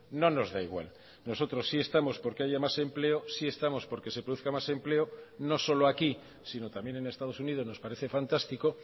no nos da igual nosotros sí estamos porque hay más empleo sí estamos porque se produzca más empleo no solo aquí sino también en estados unidos nos parece fantástico